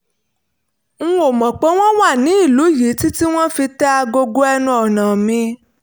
n ò mọ̀ pé wọ́n wà ní ìlú yìí títí tí wọ́n fi tẹ agogo ẹnu ọ̀nà mi